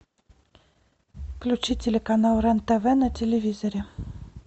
включи телеканал рен тв на телевизоре